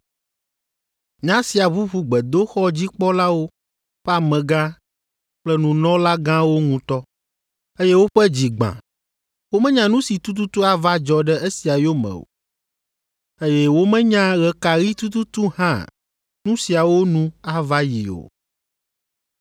Nya sia ʋuʋu gbedoxɔdzikpɔlawo ƒe amegã kple nunɔlagãwo ŋutɔ, eye woƒe dzi gbã. Womenya nu si tututu ava dzɔ ɖe esia yome o, eye womenya ɣe ka ɣi tututu hã nu siawo nu ava yi o.